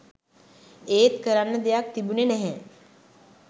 ඒත් කරන්න දෙයක් තිබුණෙ නැහැ